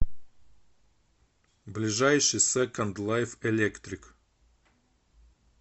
ближайший секонд лайф электрик